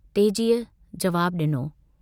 तेजीअ जवाब ॾिनो